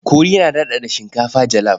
Kori yana daɗaɗa shinkafa jalaf.